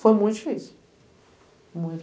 Foi muito difícil.